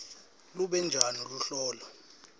lube njani luhlolo